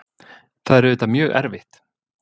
Það er auðvitað mjög erfitt.